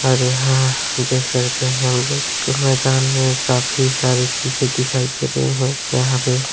और यहां देख सकते हैं हम लोग मैदान में काफी सारी चीजे दिखाई दे रही है। यहाँ पे--